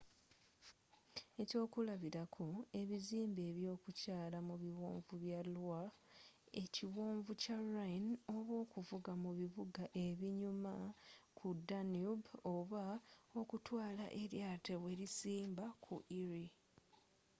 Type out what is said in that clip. eky'okulabilako ebizimbe eby'okukyaala mu biwonvu bya loire ekiwonvu kya rhine oba okuvuga mu bibuga ebinyuma ku danube oba okutwaala eryatowelisimba ku erie